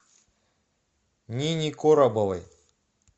нине коробовой